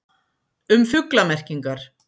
Um fuglamerkingar.